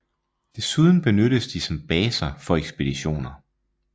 Desuden benyttes de som baser for ekspeditioner